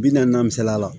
Bi naani misaliya la